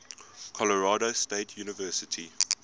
colorado state university